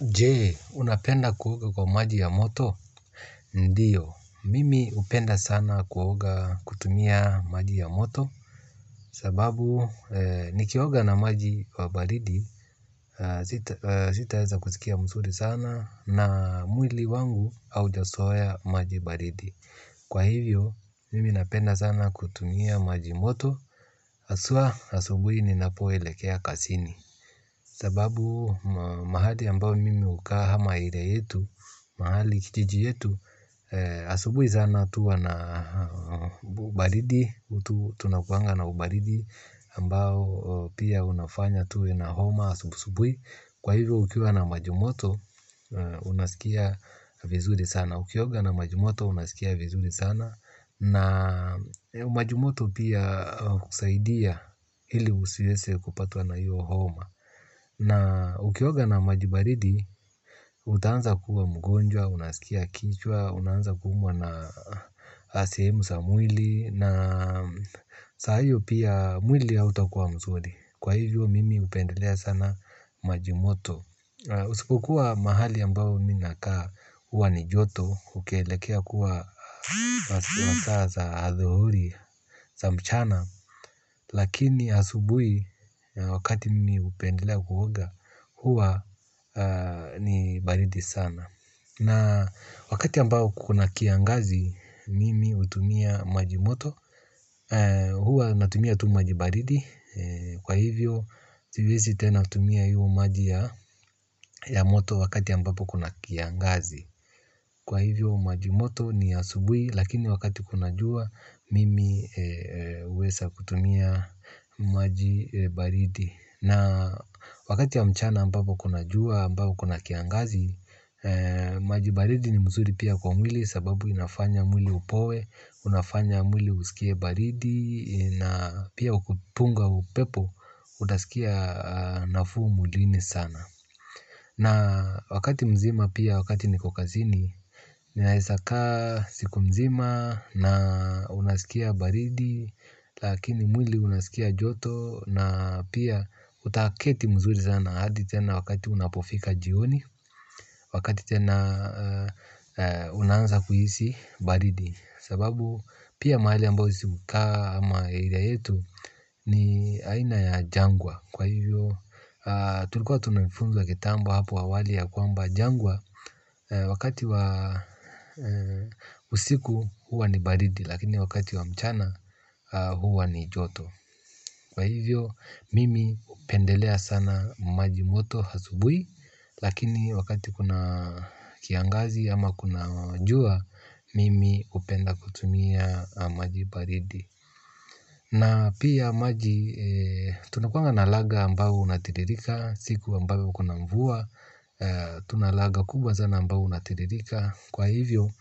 Je unapenda kuoga kwa maji ya moto? Ndiyo mimi hupenda sana kuoga kutumia maji ya moto. Sababu nikioga na maji wa baridi sitaeza kusikia mzuri sana na mwili wangu haujazoea maji baridi. Kwa hivyo mimi napenda sana kutumia maji moto haswa asubuhi ninapoelekea kazini sababu mahali ambao mi hukaa amq area yetu kijiji yetu. Asubuhi sana tu huwa na ubaridi tunakuanga na ubaridi ambao pia unafanya tuwe na homa asubuhi. Kwa hivyo ukiwa na maji moto unasikia vizuri sana. Ukioga na maji moto unasikia vizuri sana. Na maji moto pia kusaidia ili usiweze kupatwa na hiyo homa. Na ukioga na maji baridi, utaanza kuwa mgonjwa, unasikia kichwa, unaanza kuumwa na sehemu za mwili, na saa hiyo pia mwili hautakuwa mzuri. Kwa hivyo mimi hupendelea sana maji moto. Usipokuwa mahali ambao mi nakaa huwa ni joto, ukielekea kuwa masaa za adhuhuri, za mchana. Lakini asubui wakati mimi hupendelea kuoga huwa ni baridi sana. Na wakati ambao kuna kiangazi mimi hutumia maji moto. Huwa natumia tu maji baridi. Kwa hivyo siwezi tena tumia hiyo maji ya moto wakati ambapo kuna kiangazi. Kwa hivyo maji moto ni asubuhi lakini wakati kuna jua mimi huweza kutumia maji baridi. Na wakati ya mchana ambapo kuna jua ambao kuna kiangazi, maji baridi ni mzuri pia kwa mwili sababu inafanya mwili upoe, unafanya mwili usikie baridi na pia kupunga upepo, unaskia nafuu mwilini sana. Na wakati mzima pia wakati niko kazini ninaeza kaa siku mzima na unaskia baridi lakini mwili unaskia joto na pia utaketi mzuri sana hadi tena wakati unapofika jioni wakati tena unaanza kuhisi baridi. Sababu pia mahali ambao sisi hukaa ama area yetu ni aina ya jangwa. Kwa hivyo tulikuwa tunafunzwa kitambo hapo awali ya kwamba jangwa wakati wa usiku huwa ni baridi lakini wakati wa mchana huwa ni joto. Kwa hivyo mimi hupendelea sana maji moto asubuhi lakini wakati kuna kiangazi ama kuna jua, mimi hupenda kutumia maji baridi. Na pia maji tunakuanga na laga ambao unatiririka siku ambao kuna mvua. Tuna laga kubwa sana ambao unatiririka. Kwa hivyo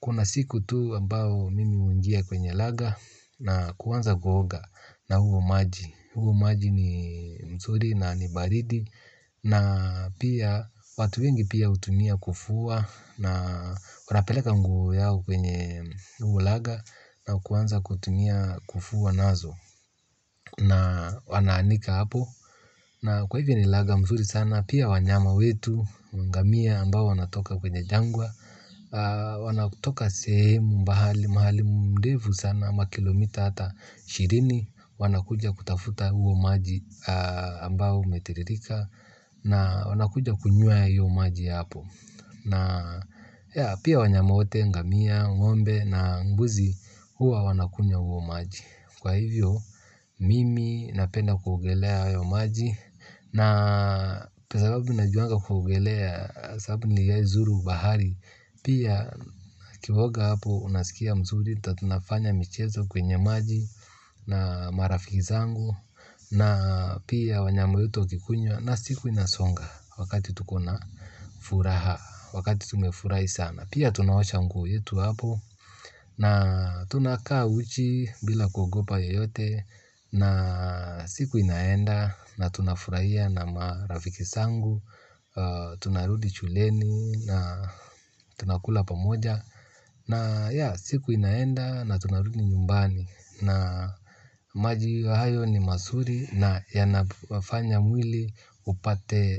kuna siku tu ambao mimi huingia kwenye laga na kuanza kuoga na huo maji. Huo maji ni mzuri na ni baridi na pia watu wengi pia hutumia kufua na wanapeleka nguo yao kwenye huo laga na kuanza kutumia kufua nazo na wanaanika hapo na kwa hivyo ni laga mzuri sana pia wanyama wetu ngamia ambao wanatoka kwenye jangwa wanatoka sehemu mbali mahali ndefu sana kama kilomita hata ishirini wanakuja kutafuta huo maji ambao umetiririka. Na wanakuja kunywea huo maji hapo. Na pia wanyama wote, ngamia, ng'ombe na mbuzi huwa wanakunywa huo maji kwa hivyo mimi napenda kuogelea hayo maji na kwa sababu najuanga kuogelea sababu niliwaizuru bahari pia ukioga hapo unasikia mzuri tunafanya michezo kwenye maji na marafiki zangu na pia wanyama wetu wakikunywa na siku inasonga wakati tukona furaha wakati tumefurahi sana pia tunaosha nguo yetu hapo na tunakaa uchi bila kugopa yeyote na siku inaenda na tunafurahia na marafiki zangu tunarudi shuleni. Na tunakula pamoja. Na ya siku inaenda na tunarudi nyumbani. Na maji wa hayo ni mazuri. Na yanafanya mwili upate.